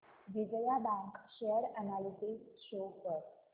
Vijaya bank share analysis show कर